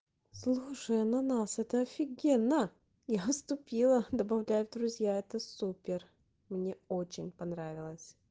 слушай ананас это офигенно я ступила добавлять в друзья это супер мне очень понравилась